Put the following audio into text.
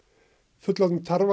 fullorðnir